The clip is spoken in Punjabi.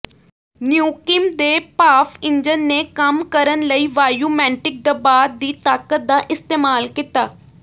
ਨਿਊਕਿੰਮ ਦੇ ਭਾਫ਼ ਇੰਜਣ ਨੇ ਕੰਮ ਕਰਨ ਲਈ ਵਾਯੂਮੈੰਟਿਕ ਦਬਾਅ ਦੀ ਤਾਕਤ ਦਾ ਇਸਤੇਮਾਲ ਕੀਤਾ